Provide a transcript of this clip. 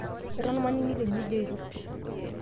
eton maningito enijoito